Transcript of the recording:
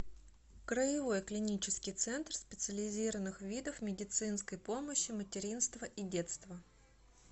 краевой клинический центр специализированных видов медицинской помощи материнства и детства